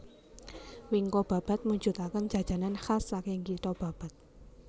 Wingko Babat mujutaken Jajanan khas saking kitho Babat